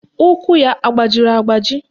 Ụkwụ ya agbajiri agbaji?